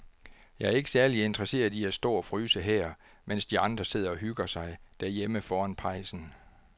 Jeg er ikke særlig interesseret i at stå og fryse her, mens de andre sidder og hygger sig derhjemme foran pejsen.